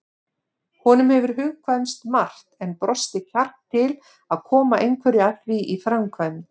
Honum hefur hugkvæmst margt en brostið kjark til að koma einhverju af því í framkvæmd.